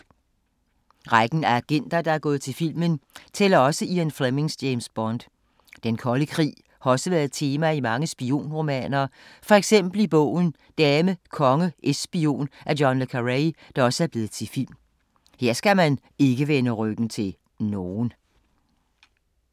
Rækken af agenter, der er gået til filmen, tæller også Ian Flemings James Bond. Den kolde krig har også været tema i mange spionromaner, for eksempel i bogen Dame konge es spion af John Le Carré, der også er blevet til film. Her skal man ikke vende ryggen til nogen.